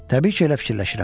Təbii ki, elə fikirləşirəm.